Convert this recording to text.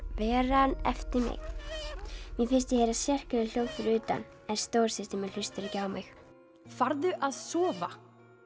veran eftir mig mér finnst ég heyra sérkennileg hljóð fyrir utan en stóra systir mín hlustar ekki á mig farðu að sofa